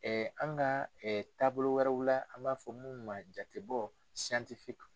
an ka taabolo wɛrɛw la an b'a fɔ minnu ma jatebɔ